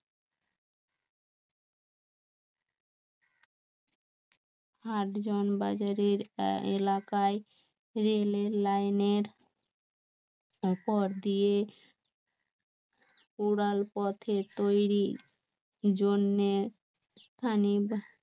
আটজন বাজারের অ্যা~এলাকায় রেলের লাইনের উপর দিয়ে উড়াল পথে তৈরি জন্যে